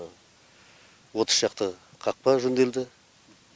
отыз шақты қақпа жөнделді